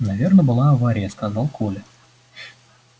наверно была авария сказал коля